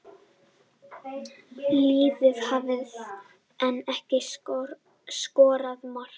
Liðin hafa enn ekki skorað mark